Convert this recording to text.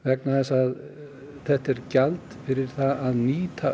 vegna þess að þetta er gjald fyrir það að nýta